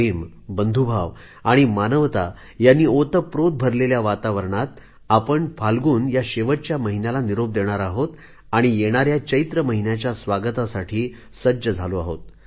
प्रेम बंधुभाव आणि मानवता यांनी ओतप्रोत भरलेल्या वातावरणात आपण फाल्गुन या शेवटच्या महिन्याला निरोप देणार आहोत आणि येणाऱ्या चैत्र महिन्याच्या स्वागतासाठी सज्ज झालो आहोत